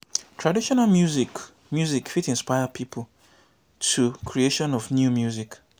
traditional music music fit inspire pipo to creation of new music